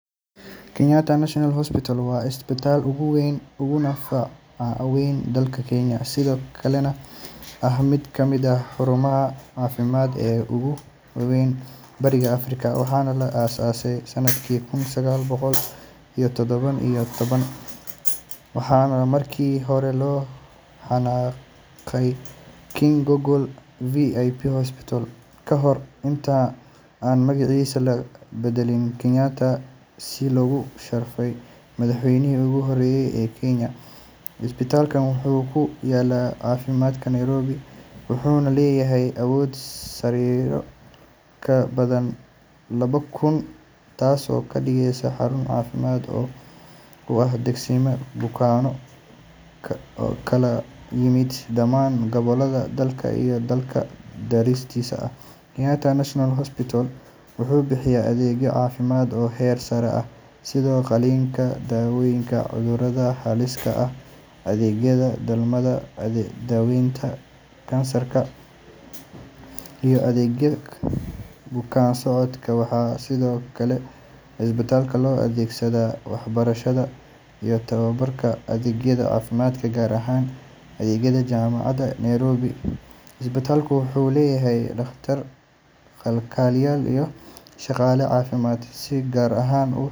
Kenyatta National Hospital waa isbitaalka ugu weyn uguna faca weyn dalka Kenya, sidoo kalena ah mid ka mid ah xarumaha caafimaad ee ugu waaweyn Bariga Afrika. Waxaa la aas aasay sanadkii kun sagaal boqol iyo toddoba iyo toban, waxaana markii hore loo yaqaanay King George VI Hospital, ka hor inta aan magaciisa loo beddelin Kenyatta si loogu sharfay madaxweynihii ugu horreeyay ee Kenya. Isbitaalkan wuxuu ku yaalla caasimadda Nairobi, wuxuuna leeyahay awood sariiro ka badan laba kun, taasoo ka dhigaysa xarun caafimaad oo u adeegsata bukaanno ka kala yimid dhammaan gobollada dalka iyo dalalka dariska ah. Kenyatta National Hospital wuxuu bixiya adeegyo caafimaad oo heer sare ah sida qalliinka, daawaynta cudurrada halista ah, adeegyada dhalmada, daaweynta kansarka iyo adeegyada bukaan socodka. Waxaa sidoo kale isbitaalka loo adeegsadaa waxbarashada iyo tababarka ardayda caafimaadka, gaar ahaan ardayda Jaamacadda Nairobi. Isbitaalku wuxuu leeyahay dhakhaatiir, kalkaaliyeyaal iyo shaqaale caafimaad oo si gaar ah u.